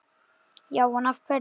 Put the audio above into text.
Já en. af hverju?